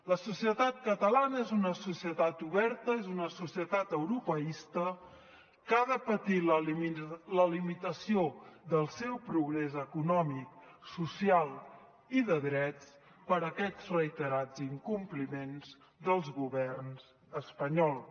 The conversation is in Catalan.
la societat catalana és una societat oberta és una societat europeista que ha de patir la limitació del seu progrés econòmic social i de drets per aquests reiterats incompliments dels governs espanyols